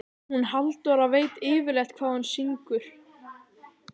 Hún Halldóra veit yfirleitt hvað hún syngur.